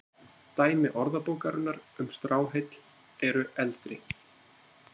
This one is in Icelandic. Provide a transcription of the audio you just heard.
Dæmi Orðabókarinnar um stráheill eru eldri.